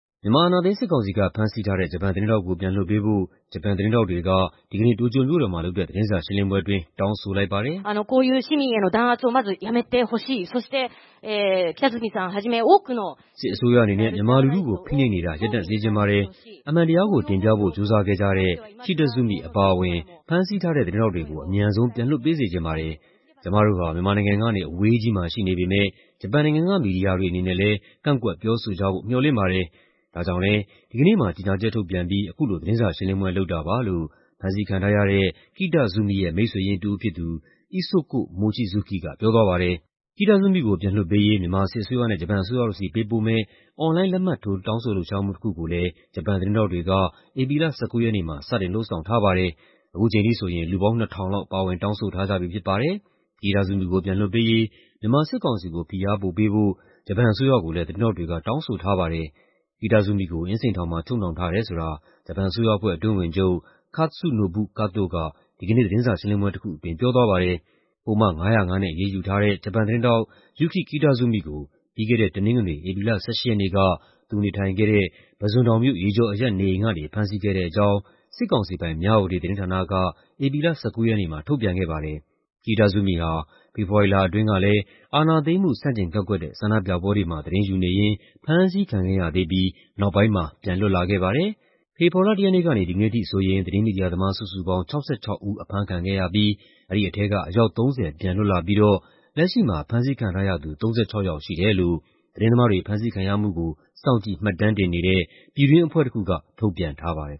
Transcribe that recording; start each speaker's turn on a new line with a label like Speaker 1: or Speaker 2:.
Speaker 1: မြန်မာ အာဏာသိမ်းစစ်ကောင်စီက ဖမ်းဆီးထားတဲ့ ဂျပန်သတင်းထောက်ကို ပြန်လွှတ်ပေးဖို့ ဂျပန်သတင်းထောက်တွေက ဒီကနေ့ တိုကျိုမြို့တော်မှာ လုပ်တဲ့ သတင်းစာရှင်းလင်းပွဲအတွင်း တောင်းဆိုလိုက်ပါတယ်။ "
Speaker 2: စ
Speaker 1: စ်အစိုးရအနေနဲ့ မြန်မာလူထုကို ဖိနှိပ်နေတာ ရပ်တန့်စေချင်ပါတယ်။ အမှန်တရားကိုတင်ပြဖို့ ကြိုးစားခဲ့ကြတဲ့ Kitazumi အပါအဝင် ဖမ်းဆီးထားတဲ့ သတင်းထောက်တွေကို အမြန်ဆုံး ပြန်လွှတ်ပေးစေချင်ပါတယ်။ ကျမတို့ဟာ မြန်မာနိုင်ငံကနေ အဝေးကြီးမှာ ရှိနေပေမဲ့ ဂျပန်နိုင်ငံက မီဒီယာတွေအနေနဲ့လည်း ကန့်ကွက်ပြောဆိုကြဖို့ မေ ျှာ်လင့်ပါတယ်။ ဒါကြောင့်လည်း ဒီကနေ့မှာ ကြေညာချက်ထုတ်ပြန်ပြီး အခုလို သတင်းစာရှင်းလင်းပွဲလုပ်တာပါ။" လို့ ဖမ်းဆီးခံထားရတဲ့ Kitazumi ရဲ့ မိတ်ဆွေရင်းတစ်ဦးဖြစ်သူ Isoko Mochizuki က ပြောသွားပါတယ်။ Kitazumi ကို ပြန်လွှတ်ပေးရေး မြန်မာစစ်အစိုးရနဲ့ ဂျပန်အစိုးရတို့ဆီ ပေးပို့မယ့် အွန်လိုင်း လက်မှတ်ထိုး တောင်းဆိုလှုပ်ရှားမှု တစ်ခုကိုလည်း ဂျပန်သတင်းထောက်တွေက ဧပြီလ ၁၉ ရက်နေ့မှာ စတင်လုပ်ဆောင်ထားပါတယ်။ အခုချိန်ထိဆိုရင် လူပေါင်း ၂,၀၀၀ လောက် ပါဝင် တောင်းဆိုထားကြပြီဖြစ်ပါတယ်။ Kitazumi ကို ပြန်လွှတ်ပေးရေး မြန်မာစစ်ကောင်စီကို ဖိအားပိုပေးဖို့ ဂျပန်အစိုးရကိုလည်း သတင်းထောက်တွေက တောင်းဆိုထားပါတယ်။ Kitazumi ကို အင်းစိန်ထောင်မှာ ချုပ်နှောင်ထားတယ်ဆိုတာ ဂျပန်အစိုးရအဖွဲ့ အတွင်းဝန်ချုပ် Katsunobu Kato က ဒီကနေ့ သတင်းစာရှင်းလင်းပွဲတစ်ခုအတွင်း ပြောသွားပါတယ်။ ပုဒ်မ ၅၀၅ နဲ့ အရေးယူထားတဲ့ ဂျပန်သတင်းထောက် Yuki Kitazumi ကို ပြီးခဲ့တဲ့ တနင်္ဂနွေ၊ ဧပြီလ ၁၈ ရက်နေ့က သူနေထိုင်ခဲ့ဲတဲ့ ပုဇွန်တောင်မြို့၊ ရေကျော်အရပ်နေအိမ်ကနေ ဖမ်းဆီးခဲ့တဲ့အကြောင်း စစ်ကောင်စီပိုင် မြဝတီသတင်းဌာနက ဧပြီလ ၁၉ ရက်နေ့မှာ ထုတ်ပြန်ခဲ့ပါတယ်။ Kitazumi ဟာ ဖေဖော်ဝါရီလအတွင်းက အာဏာသိမ်းမှု ဆန့်ကျင်ကန့်ကွက်တဲ့ ဆန္ဒပြပွဲတွေမှာ သတင်းယူနေရင်း ဖမ်းဆီးခံခဲ့ရသေးပြီး နောက်ပိုင်းမှာ ပြန်လွတ်လာခဲ့ပါတယ်။ ဖေဖော်ဝါရီလ ၁ ရက်နေ့ကနေ ဒီကနေ့အထိဆိုရင် သတင်းမီဒီယာသမား စုစုပေါင်း ၆၆ ဦး အဖမ်းခံခဲ့ရပြီး အဲဒီထဲက အယောက် ၃၀ ပြန်လွတ်လာပြီးတော့ လက်ရှိမှာ ဖမ်းဆီးခံထားရသူ ၃၆ ယောက်ရှိတယ်လို့ သတင်းသမားတွေ ဖမ်းဆီးခံရမှုကို စောင့်ကြည့်မှတ်တမ်းတင်နေတဲ့ ပြည်တွင်းအဖွဲ့တစ်ခုက ထုတ်ပြန်ထားပါတယ်